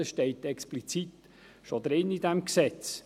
Dies steht schon explizit in diesem Gesetz.